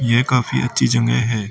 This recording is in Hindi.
यह काफी अच्छी जगह है।